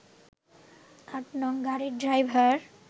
৮ নং গাড়ির ড্রাইভার